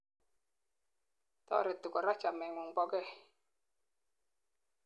toreti korak chamengung bokei